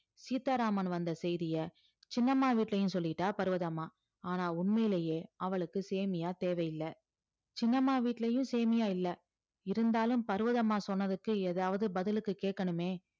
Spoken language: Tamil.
சீதாராமன் வந்த செய்திய சின்னம்மா வீட்லயும் சொல்லிட்டா பர்வதம்மா ஆனா உண்மையிலேயே அவளுக்கு சேமியா தேவையில்ல சின்னம்மா வீட்லயும் சேமியா இல்ல இருந்தாலும் பர்வதம்மா சொன்னதுக்கு ஏதாவது பதிலுக்கு கேட்கணுமே